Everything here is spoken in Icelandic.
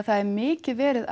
það er mikið verið